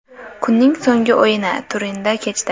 Kunning so‘nggi o‘yini Turinda kechdi.